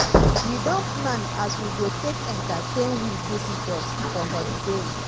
we don plan as we go take entertain we visitors for holiday